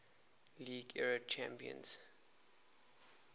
league era champions